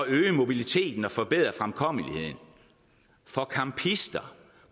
øge mobiliteten og forbedre fremkommeligheden for campister